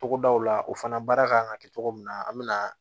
Togodaw la o fana baara kan ka kɛ cogo min na an bɛ na